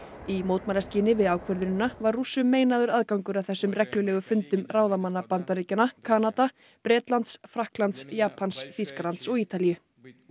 í mótmælaskyni við ákvörðunina var Rússum meinaður aðgangur að þessum reglulegu fundum ráðamanna Bandaríkjanna Kanada Bretlands Frakklands Japans Þýskalands og Ítalíu